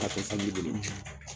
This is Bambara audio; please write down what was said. K'a to san ji bolo.